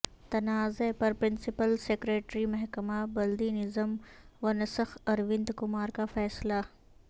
تنازعہ پر principal secretary محکمہ بلدی نظم و نسق اروند کمار کا فیصلہ